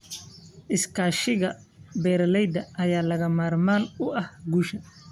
Iskaashiga beeralayda ayaa lagama maarmaan u ah guusha.